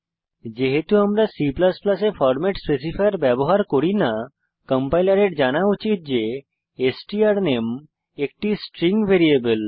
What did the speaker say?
যেহেতু আমরা C এ ফরম্যাট স্পেসিফায়ার ব্যবহার করি না কম্পাইলারের জানা উচিত যে স্ট্রানামে একটি স্ট্রিং ভ্যারিয়েবল